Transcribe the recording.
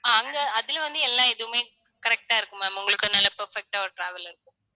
ஆஹ் அங்க அதுல வந்து, எல்லா எதுவுமே correct ஆ இருக்கும் ma'am உங்களுக்கு நல்ல perfect ஆ ஒரு travel இருக்கும்